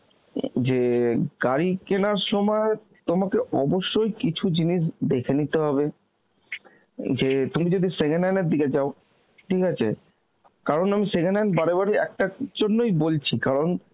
উম যে গাড়ি কেনার সময় তোমাকে কিছু জিনিস অবশ্যই দেখে নিতে হবে, যে তুমি যদি second hand এর দিকে যাও, ঠিক আছে, কারণ আমি second hand বারে বারে একটার জন্যই বলছি কারণ